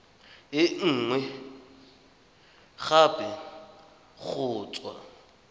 e nngwe gape go tswa